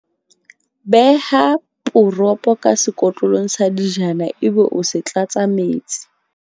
Beha poropo ka sekotlolong sa dijana ebe o se tlatsa metsi.